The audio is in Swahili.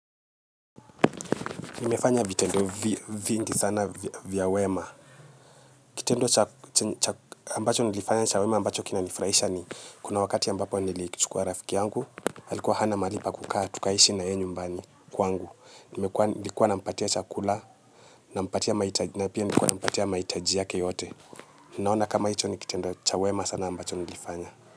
Nimefanya vitendo vingi sana vya wema. Kitendo ambacho nilifanya chawema ambacho kina nifraisha ni kuna wakati ambapo nilichukua rafiki yangu, halikuwa hana malipa kukaa tukaishi na ye nyumbani kwangu. Nilikuwa nampatia chakula na mpatia mahitaji na pia nilikuwa nampatia mahitaji yake yote. Ninaona kama hicho ni kitendo cha wema sana ambacho nilifanya.